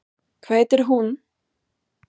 Hvað heitir hún?